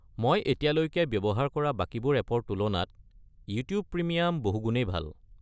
মই এতিয়ালৈকে ব্যৱহাৰ কৰা বাকিবোৰ এপৰ তুলনাত ইউটিউব প্ৰিমিয়াম বহু গুণেই ভাল।